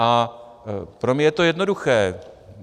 A pro mě je to jednoduché.